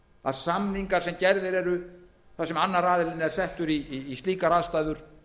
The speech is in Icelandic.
að samningar sem gerðir eru þar sem annar aðilinn er settur í slíkar aðstæður